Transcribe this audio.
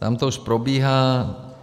Tam to už probíhá.